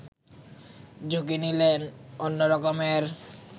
ঝুঁকি নিলেন অন্য রকমের